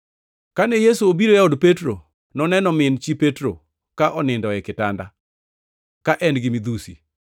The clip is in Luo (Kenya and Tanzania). Kane Yesu obiro e od Petro, noneno min chi Petro ka onindo e kitanda, ka en-gi midhusi.